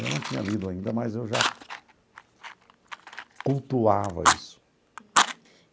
Eu não tinha lido ainda, mas eu já cultuava isso.